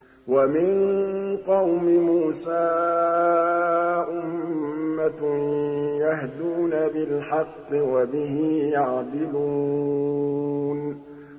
وَمِن قَوْمِ مُوسَىٰ أُمَّةٌ يَهْدُونَ بِالْحَقِّ وَبِهِ يَعْدِلُونَ